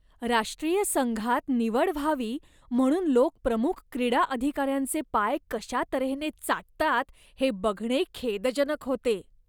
राष्ट्रीय संघात निवड व्हावी म्हणून लोक प्रमुख क्रीडा अधिकार्यांचे पाय कशा तऱ्हेने चाटतात हे बघणे खेदजनक होते.